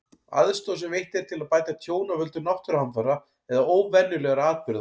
Aðstoð sem veitt er til að bæta tjón af völdum náttúruhamfara eða óvenjulegra atburða.